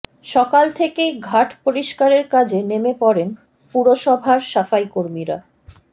সকাল থেকেই ঘাট পরিষ্কারের কাজে নেমে পড়েন পুরসভার সাফাইকর্মীরা